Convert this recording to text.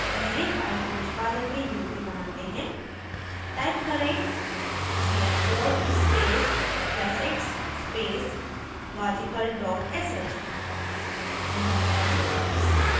पहले file को निष्पादन के योग्य बनाते हैं टाइप करें chmod space plus x space logical dot sh enter दबाएं